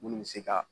Munnu bɛ se ka